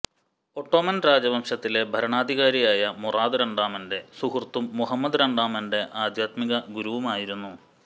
Ottoman രാജവംശത്തിലെ ഭരണാധികാരിയായ മുറാദ് രണ്ടാമന്റെ സുഹൃത്തും മുഹമ്മദ് രണ്ടാമൻന്റെ ആധ്യാത്മിക ഗുരുവുമായിരുന്നു